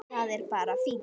Það er bara fínt!